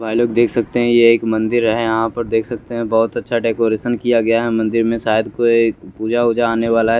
भाई लोग देख सकते है ये एक मंदिर है यहाँ पर देख सकते है बहोत अच्छा डेकरैशन किया गया है यहाँ मंदिर मे शायद कोई पूजा उजा आने वाला है।